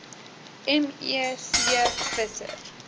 me c visser